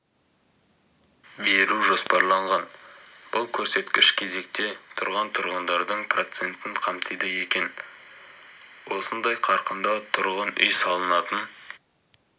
беру жоспарланған бұл көрсеткіш кезекте тұрған тұрғындардың процентін қамтиды екен осындай қарқында тұрғын үй салынатын